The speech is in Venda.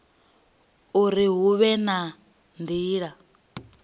uri hu vhe na nila